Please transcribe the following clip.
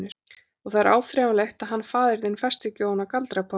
Og það er áreiðanlegt að hann faðir þinn fæst ekki ofan af galdrapárinu.